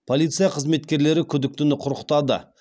полиция қызметкерлері күдіктіні құрықтады